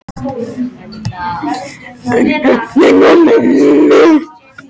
En enn var heppnin með mér.